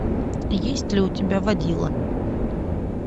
есть ли у тебя водила